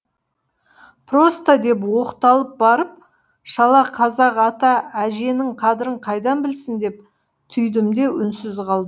просто деп оқталып барып шала қазақ ата әженің қадірін қайдан білсін деп түйдім де үнсіз